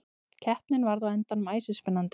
Keppnin varð á endanum æsispennandi.